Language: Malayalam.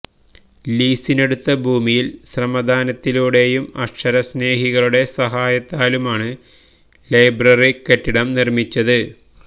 ലീസിനെടുത്ത ഭൂമിയിൽ ശ്രമദാനത്തിലൂടെയും അക്ഷരസ്നേഹികളുടെ സഹായത്താലുമാണ് ലൈബ്രറി കെട്ടിടം നിർമിച്ചത്